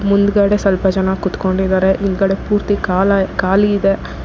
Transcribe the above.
ಮುಂದ್ಗಡೆ ಸ್ವಲ್ಪ ಜನ ಕೂತ್ಕೊಂಡಿದ್ದಾರೆ ಈ ಕಡೆ ಪೂರ್ತಿ ಕಾಲ ಖಾಲಿ ಇದೆ.